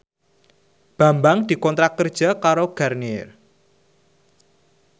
Bambang dikontrak kerja karo Garnier